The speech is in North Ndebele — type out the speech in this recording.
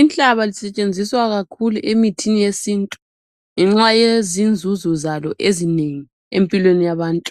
Inhlaba lisetshenziswa kakhulu emithini yesintu ngenxa yezinzuzo zalo ezinengi empilweni yabantu